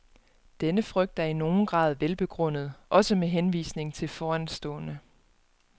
Denne frygt er i nogen grad velbegrundet, også med henvisning til foranstående.